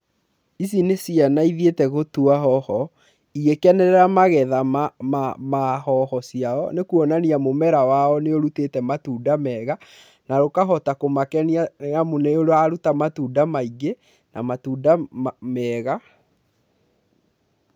Ici nĩ ciana ithĩete gũtũa hoho igĩkenerera magetha ma hoho ciao nĩ kũonania mũmera wao nĩ ũrũtite matũnda mega na ũkahota kũmakenia nĩ amũ nĩ ũrarũta matũnda maingi na matũnda mega.